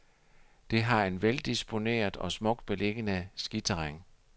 Det har et veldisponeret og smukt beliggende skiterræn.